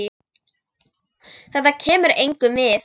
Þetta kemur engum við.